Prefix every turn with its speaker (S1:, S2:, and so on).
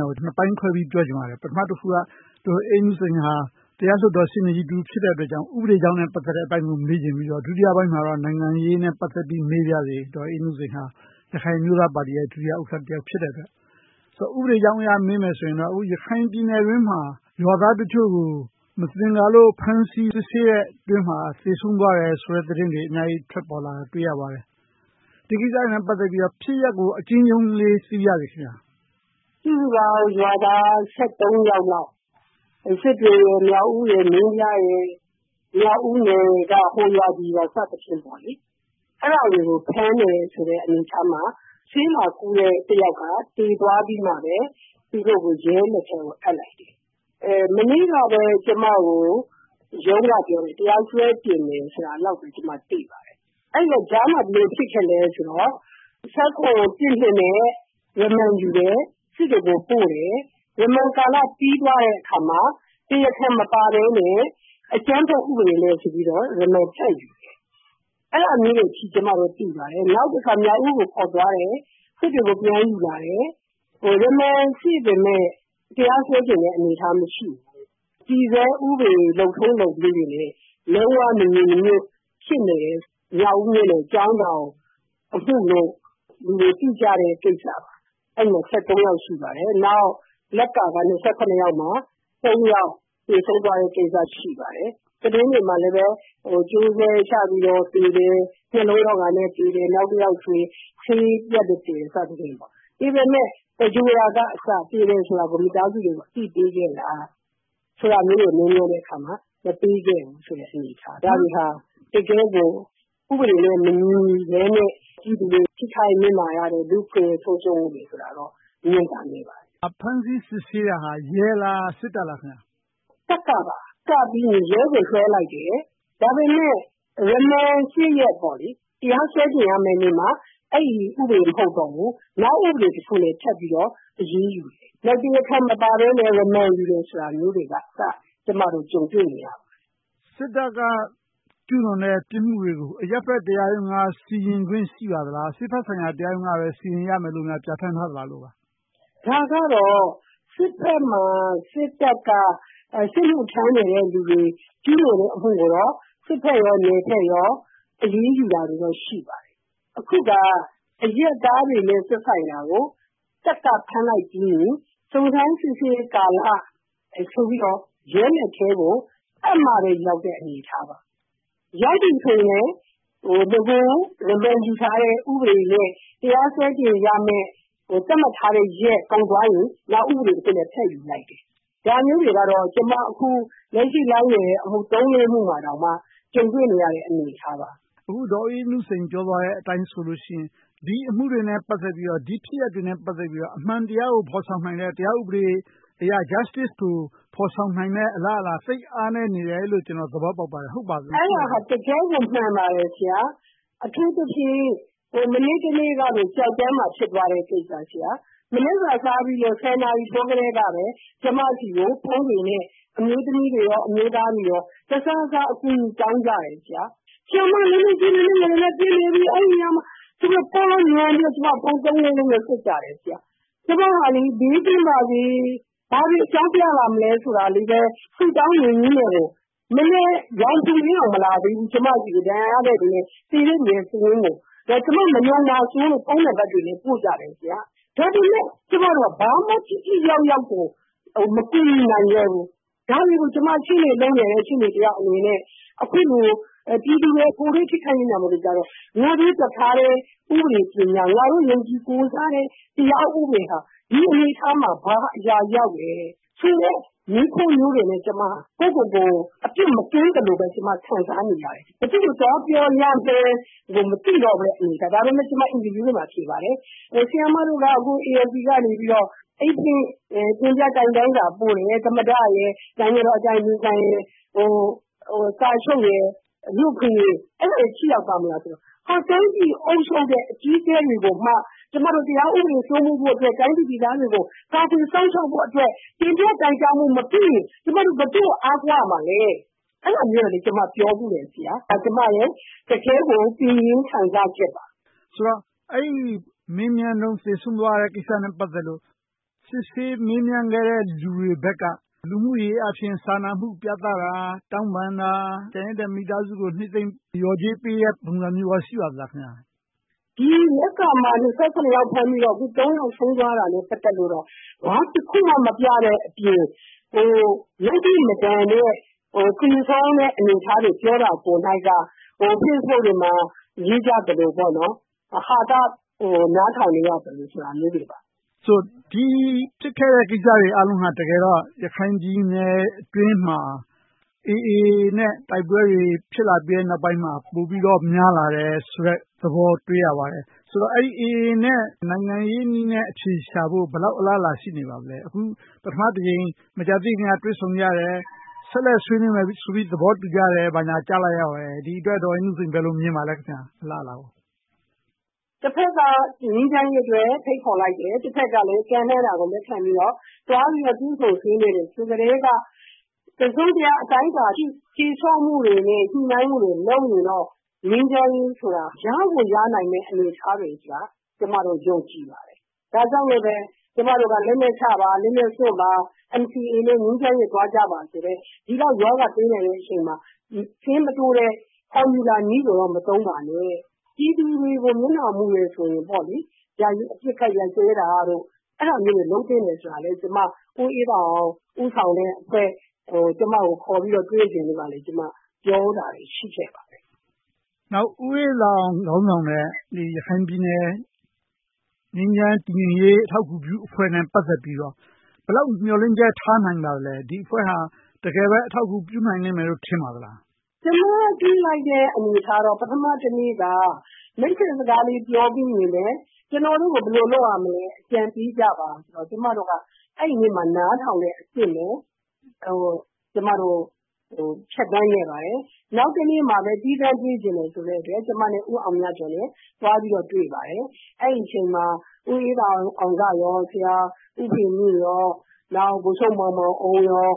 S1: င်းကို နှစ်ပိုင်းခွဲပြီး ပြောချင်ပါတယ်။ ပထမတခုက ဒေါ်အေးနုစိန်က တရားလွှတ်တော်ရှေ့နေကြီး ဖြစ်တဲ့အတွက် ဥပဒေအကြောင်းကို မေးချင်ပြီး၊ ဒုတိယပိုင်းမှာတော့ နိုင်ငံရေးနဲ့ ပတ်သက်ပြီး မေးချင်ပါတယ်။ ဒေါ်အေးနုစိန်ဟာ ရခိုင်အမျိုးသားပါတီရဲ့ ဒု-ဥက္ကဋ္ဌ ဖြစ်တဲ့အတွက်။ ဥပဒေအကြောင်းအရ မေးမယ်ဆိုရင်တော့ အခု ရခိုင်ပြည်နယ်အတွင်းမှာ ရွာသားအချို့ကို မသင်္ကာလို့ ဖမ်းဆီးစစ်ဆေးတဲ့ အတောအတွင်းမှာ သေဆုံးသွားတယ်ဆိုတဲ့ သတင်းတွေ ထွက်ပေါ်လာတာကို အများကြီးတွေ့ရပါတယ်။ ဒီကိစ္စတွေနဲ့ ပတ်သက်ပြီးတော့ ဖြစ်ရပ်ကို အကျဉ်းရုံးလေး သိပါရစေ။
S2: စုစုပေါင်း ရွာသား ယောက်လောက် စစ်တွေ၊ မြောက်ဦး၊ မင်းပြားဒေသက ဟိုရွာဒီရွာကနေ ဖမ်းတယ်တဲ့အခါ ဆေးလာကုတဲ့ တစ်ယောက်က သေသွားပြီးမှာ သူတို့ကို ရဲလက်ထဲကို အပ်လိုက်တယ်။ မနေ့ကပဲ ကျမကို ရုံးကပြောတယ် တရားစွဲတင်မယ်ဆိုတာလောက်ပဲ ကျမ သိပါတယ်။ အဲဒီတော့ ကြားမှဘယ်လိုဖြစ်ခဲ့သလဲဆိုတော့ နဲ့ ရမန်ယူတယ်။ စစ်တွေကို ပို့တယ်။ ရမန်ကာလ ပြီသွားတဲ့အခါမှာ တရားခံမပါဘဲနဲ့ အကြမ်းဖက်ဥပဒေနဲ့ဆိုပြီးတော့ ရမန်ထပ်ယူတယ်။ အဲဒါမျိုးတွေ ကျမတို့ သိရှိရပါတယ်။ နောက်တခါ မြောက်ဦးကို ခေါ်သွားတယ်။ စစ်တွေကို ပြန်ယူလာတယ်။ ရမန် ရှိပေမယ့် တရားစွဲဆိုမယ့် အနေအထား မရှိဘူး။ တည်ဆဲဥပဒေ လုပ်ထုံးလုပ်နည်းတွေနဲ့ လုံးဝမညီမညွှတ် ဖြစ်နေတဲ့ မြောက်ဦးမြို့နယ်အကြောင်းကို အခုလို လူတွေသိကြတဲ့ ကိစ္စပါ။ အဲဒီမှာ ယောက် ရှိပါတယ်။ နောက်.. ယောက်မှာ ယောက် သေဆုံးသွားတဲ့ကိစ္စ ရှိပါတယ်။ သတင်းတွေမှာလဲ ကြိုးဆွဲချသေတယ်။ နှလုံးရောဂါနဲ့သေတယ်။ နောက်တယောက်ဆို ဆေးပြတ်လို့သေတယ် စသဖြင့်။ သေတယ်ဆိုပေမယ့် သဂြုႋဟ်တာကအစ မိသားစုတွေကို အသိပေးခဲ့လားလို့ မေးမြန်းတဲ့အခါ မပေးခဲ့ဘူးဆိုတဲ့ အနေအထားတွေက တကယ့်ကို ဥပဒေနဲ့မညီဘဲနဲ့ ပြည်သူတွေ ထိခိုက်နစ်နာရတဲ့ လူ့အခွင့်အရေး ချိုးဖောက်မှုတွေဆိုတာတော့ မြင်သာနိုင်ပါတယ်။
S1: ဖမ်းဆီးစစ်ဆေးတာ ရဲလား၊ စစ်တပ်လား။
S2: စစ်တပ်ပါ။ နောက်မှ ရဲကိုလွှဲလိုက်တယ်။ ဒါပေမဲ့ ရမန် ရက် တရားစွဲတင်ရမယ့်နေ့မှာ အဲဒီဥပဒေ မဟုတ်တော့ဘူး။ နောက်ဥပဒေတခုက ထပ်ပြီးတော့ အရေးယူတယ်။ နောက်ပြီးတော့ တရားခံမပါဘဲနဲ့ ရမန်ယူတယ်ဆိုတာမျိုးတွေကအစ ကျမတို့ ကြုံတွေ့နေရပါတယ်။
S1: စစ်တပ်က ကျူးလွန်တဲ့ ဥပဒေတွေကို အရပ်ဘက်တရားရုံးက စီရင်ခွင့် ရှိပါသလား။ စစ်ဘက်ဆိုင်ရာ တရားရုံးကပဲ စီရင်ရမယ့်လို့ ပြဌာန်းထားသလားလို့ပါ။
S2: ဒါကတော့ စစ်ဘက်မှာ စစ်တပ်က စစ်မှုထမ်းနေတဲ့လူတွေ ကျူးလွန်တဲ့အမှုကိုတော့ စစ်ဘက်နဲ့ နယ်ဘက် အရေးယူတာတွေ ရှိပါတယ်။ အခုက အရပ်သားတွေနဲ့ သက်ဆိုင်တာကို တပ်ကဖမ်းလိုက်ပြီးရင် စုံစမ်းစစ်ဆေးကာလဆိုပြီးတော့ ရဲလက်ထဲကို အပ်မှပဲရောက်တဲ့ အနေအထားပါ။ ရောက်ပြီဆိုရင်လဲ နဂို ရမန်ယူထားတဲ့ ဥပဒေနဲ့ တရားစွဲတင်ရမယ့် သတ်မှတ်ထားတဲ့ရက် ကုန်သွားရင် နောက်ဥပဒေတခုနဲ့ ထပ်ယူလိုက်တယ်။ ဒါမျိုးတွေကတော့ ကျမ အခုလက်ရှိလိုက်နေတဲ့ အမှု သုံးလေးမှုမှာတောင်မှ ကြုံတွေ့နေရတဲ့ အနေအထားပါ။
S1: အခု ဒေါ်အေးနုစိန် ပြောသွားတဲ့အတိုင်းဆိုရင် ဒီအမှုတွေနဲ့ ပတ်သက်ပြီးတော့ ဒီဖြစ်ရပ်တွေနဲ့ ပတ်သက်ပြီးတော့ အမှန်တရားကို ဖော်ဆောင်နိုင်တဲ့ တရားဥပဒေအရ Justice ကို ဖော်ဆောင်နိုင်မယ့် အလားအလာ သိပ်အားနည်းနေတယ်လို့ ကျနော် သဘောပေါက်ပါတယ်။ ဟုတ်ပါသလား။
S2: အဲဒါက တကယ့်ကို မှန်ပါတယ် ဆရာ။ အထူးသဖြင့် မနေ့တနေ့ကပင် ကျောက်တော်မှာ ဖြစ်သွားတဲ့ကိစ္စ။ မနက်စာစားပြီး နာရီထိုးကတည်းက ကျမဆီကို ဖုန်းတွေနဲ့ အမျိုးသမီးတွေနဲ့ အမျိုးသားတွေ တစာစာအကူအညီတောင်းကြတယ်။ အဲဒီမှာ ပစ်နေကြပြီ ဘာညာဆိုပြီး ဖုန်းသုံးလေးလုံးနဲ့ ဆက်ကြတယ်။ ကျမက ဘေးကင်းပါစေ၊ ဘာတွေအကြောင်းပြကြမလဲဆိုတာကို ဆုတောင်းရင်းနဲ့ မနက်ရောင်ခြည်လင်းကို မလာသေးဘူး၊ ကျမဆီကို ဒဏ်ရာရတဲ့သူနဲ့ သေတဲ့သူစာရင်းကို ကျမ မယုံမှာဆိုလို့ ကျမကို ဖုန်းနံပတ်တွေနဲ့ ပို့ကြတယ်။ ဒါပေမဲ့ ကျမတို့က ဘာကိုမှ ထိထိရောက်ရောက်ကို မကူညီနိုင်ခဲ့ဘူး။ ဒါတွေကို ကျမ ရှေ့နေလုပ်နေတဲ့ ရှေ့နေတယောက်အနေနဲ့ အခုလို ပြည်သူတွေ ထိခိုက်နစ်နာချိန်မှာ ကိုယ်တတ်ထားတဲ့ ဥပဒေပညာ၊ ကိုးစားတဲ့တရားဥပဒေက ဒီအနေအထားမှာ ဘာအရာရောက်နေလဲဆိုတဲ့ မေးခွန်းမျိုးတွေနဲ့ ကိုယ့်ကိုယ်ကို အပြစ်မကင်းသလိုပဲ ခံစားရတယ်။ ဘယ်သူကို သွားပြောရမလဲ မသိတော့တဲ့ အနေအထား ဖြစ်ခဲ့တယ်။ ဒါပေမဲ့ ကျမ အင်တာဗျူးတွေမှာ ဖြေပါတယ်။ ဆရာမတို့က ANC ကနေ အိတ်ဖွင့်တိုင်ကြားစာပို့တယ် - သမ္မတ၊ နိုင်ငံတော်အတိုင်ပင်ခံရယ်၊ ကာချုပ်နဲ့ လူ့အခွင့်အရေးတို့ကို ပို့တာ ထိရောက်ပါ့မလားဆိုတော့ တိုင်းပြည်အုပ်ချုပ်တဲ့ အကြီးအကဲတွေကိုမှ ကျမတို့ တရားဥပဒေစိုးမိုးဖို့အတွက်၊ တိုင်းပြည်သူပြည်သားတွေကို ကာကွယ်စောင့်ရှောက်ဖို့အတွက် တင်ပြတိုင်ကြားမှုမပြုရင် ကျမတို့ ဘယ်သူ့ကို အားကိုးရမလဲ။ အဲဒီလိုမျိုး ကျမ ပြောဖူးတယ်။ အဲဒါ ကျမရဲ့တကယ့်ကို ရင်တွင်းခံစားချက်ပါ။
S1: အဲဒီမေးမြန်းတုန်း သေဆုံးသွားတဲ့ကိစ္စနဲ့ ပတ်သက်လို့ စစ်ဆေးမေးမြန်းခဲ့တဲ့ လူတွေဘက်က လူမှုရေးအားဖြင့် စာနာမှု ပြသတာ၊ တောင်းပန်တာ၊ ကျန်ရစ်တဲ့မိသားစုကို နစ်သိမ့်လျော်ကြေးပေးတဲ့ ပုံစံမျိုးတွေ ရှိပါသလား။
S2: ဒီလက်ကာမှာ ယောက် ဖမ်းပြီးတော့ ယောက် ဆုံးသွားတာကို ဘာတခုမှ မပြတဲ့အပြင် ယုတ်တိမတန်တဲ့ facebook တွေမှာ လျှောက်ရေးသလိုမျိုး ဟာသ နားထောင်နေရသလိုမျိုးတွေပါ။
S1: ဒီဖြစ်ခဲ့တဲ့ကိစ္စတွေက တကယ်တော့ ရခိုင်ပြည်နယ်အတွင်းမှာ AA နဲ့ တိုက်ပွဲတွေ ဖြစ်လာခဲ့ပြီးနောက်ပိုင်းမှာ ပိုပြီးတော့ များလာတယ်ဆိုတဲ့သဘော တွေ့ရပါတယ်။ ဆိုတော့ AA နဲ့ နိုင်ငံရေးနည်းနဲ့ အဖြေရှာဖို့ ဘယ်လောက် အလားအလာ ရှိနေပါလဲ။ အခု ပထမတကြိမ် မကြာသေးခင်က တွေ့ဆုံကြတယ်။ ဆက်လက်ဆွေးနွေးမယ်ဆိုပြီးတော့ သဘောတူကြတယ်ဆိုပြီး ကြားလိုက်ရပါတယ်။ ဒီအတွက်ကို ဒေါ်အေးနုစိန် ဘယ်လိုမြင်ပါလဲ။
S2: တဘက်က ငြိမ်းချမ်းရေးအတွက် ဖိတ်ခေါ်လိုက်တယ်။ တဘက်ကလဲ ကမ်းလှမ်းတာကို လက်ခံပြီးတော့ တွေ့ဆုံဆွေးနွေးတယ်ဆိုကတည်းက တစုံတရာအတိုင်းအတာအထိ တည်ဆောက်မှုတွေနဲ့ ညှိနှိုင်းမှုတွေ လုပ်ရင်တော့ ငြိမ်းချမ်းရေးဆိုတာ ရကိုရနိုင်မယ့် အနေအထားဆိုတာကို ကျမအနေနဲ့ ယုံကြည်ပါတယ်။ ဒါကြောင့်မို့ ကျမတို့က လက်နက်ချပါ။ လက်နက်စွန့်ပါ။ NCA နဲ့ ငြိမ်းချမ်းရေးကို သွားကြပါဆိုတဲ့ ဒီလောက်ရောဂါသေးတဲ့အချိန်မှာ ဆေးမတိုးဘဲ ဖော်မြူလာနည်းတွေကို မသုံးပါနဲ့ ပြည်သူတွေကို မျက်နှာမူတယ်ဆိုရင်တော့ ယာယီအပစ်ခတ်ရပ်စဲတာတို့၊ အဲဒါမျိုးတွေ လုပ်သင့်တယ်လို့ ကျမ က ဦးအေးသာအောင် ဦးဆောင်တဲ့အဖွဲ့က ကျမကို ခေါ်ပြီးတော့တွေ့ဖို့ ပြောတာတွေ ရှိခဲ့ပါတယ်။
S1: ဦးအေးသာအောင် ခေါင်းဆောင်တဲ့ ရခိုင်ပြည်နယ် ငြိမ်းချမ်းတည်ငြိမ်ရေး အထောက်အကူပြုအဖွဲ့နဲ့ ပတ်သက်ပြီးတော့ ဘယ်လောက်မျှော်လင့်ချက် ထားနိုင်ပါလဲ။ ဒီအဖွဲ့က တကယ်ပဲ အထောက်အကူပြုနိုင်မယ်လို့ ထင်ပါသလား။
S2: ကျမ တွေ့လိုက်တဲ့အနေအထားကတော့ ပထမတနေ့က မိတ်ဆက်စကားလေး ပြောပြီးတာနဲ့ ကျနော်တို့ကို ဘယ်လိုလုပ်ရမလဲဆိုတာကို အကြံပေးကြပါဆိုကာ အဲဒီနေ့မှာ ကျမတို့က နားထောင်ရုံပဲ ဖြတ်သန်းခဲ့ပါတယ်။ နောက်တနေ့မှာ သီးခြားတွေ့ချင်တယ်ဆိုလို့ ကျမနဲ့ ဦးအောင်မြတ်ကျော်တို့ သွားတွေ့ပါတယ်။ အဲဒီအချိန်မှာ ဦးအေးသာအောင်၊ ဆရာဦးဖေမြင့်၊ ဗိုလ်ချုပ်မောင်မောင်အုန်းတို့